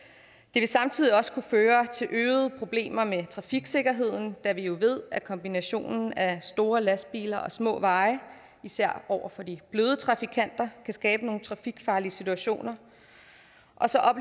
vil samtidig også kunne føre til øgede problemer med trafiksikkerheden da vi jo ved at kombinationen af store lastbiler og små veje især over for de bløde trafikanter kan skabe nogle trafikfarlige situationer